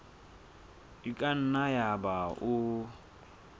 e ka nna yaba o